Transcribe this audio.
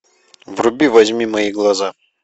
вруби возьми мои глаза